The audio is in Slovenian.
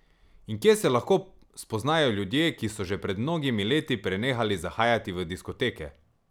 In kje se lahko spoznajo ljudje, ki so že pred mnogimi leti prenehali zahajati v diskoteke?